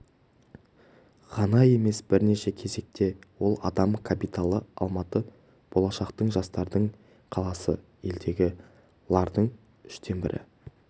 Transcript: ғана емес бірнеше кезекте ол адам капиталы алматы болашақтың жастардың қаласы елдегі лардың үштен бірі